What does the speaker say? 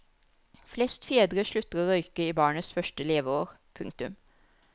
Flest fedre slutter å røyke i barnets første leveår. punktum